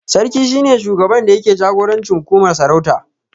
Sarki shi ne shugaba da yake jagorancin hukumar sarauta